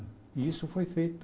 E isso foi feito.